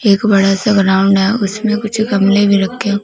एक बड़ा सा ग्राउंड है उसमें कुछ गमले में रखें--